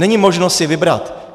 Není možno si vybrat.